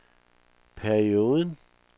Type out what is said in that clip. perioden